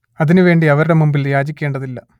അതിനു വേണ്ടി അവരുടെ മുമ്പിൽ യാചിക്കേണ്ടതില്ല